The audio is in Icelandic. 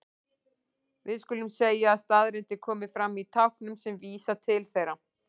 Við skulum segja að staðreyndir komi fram í táknum sem vísa til þeirra.